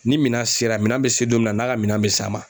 Ni minan sera minan bɛ se don min na n'a ka minan bɛ s'a ma